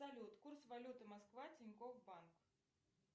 салют курс валюты москва тинькофф банк